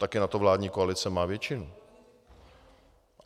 Taky na to vládní koalice má většinu.